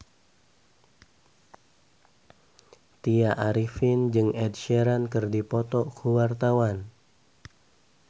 Tya Arifin jeung Ed Sheeran keur dipoto ku wartawan